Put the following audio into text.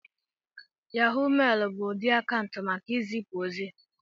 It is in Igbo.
Yahó mailu bụ ụdị akaụntụ maka izipu ozi